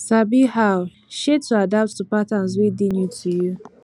sabi how um to adapt to patterns wey dey new to you